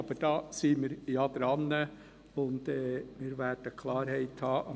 Aber daran sind wir, und wir werden am 25. November Klarheit haben.